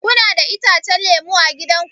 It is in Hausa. Kuna da itacen lemu a gida ku?